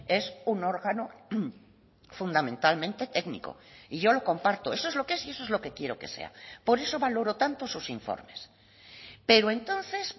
es un órgano fundamentalmente técnico y yo lo comparto eso es lo que es y eso es lo que quiero que sea por eso valoro tanto sus informes pero entonces